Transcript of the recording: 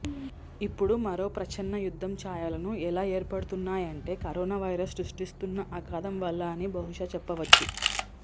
ఇప్పుడు మరో ప్రచ్ఛన్న యుద్ధం ఛాయలు ఎలా ఏర్పడుతున్నాయంటే కరోనా వైరస్ సృష్టిస్తున్న అగాధం వల్ల అని బహుశ చెప్పవచ్చు